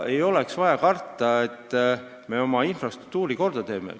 Ei ole vaja karta seda, et me oma infrastruktuuri korda teeme.